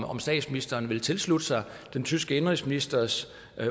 om statsministeren vil tilslutte sig den tyske indenrigsministers